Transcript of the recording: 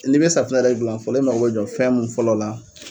Ni be safinɛ yɛrɛ gilan fɔlɔ , i mako be jɔ fɛn mun fɔlɔ la.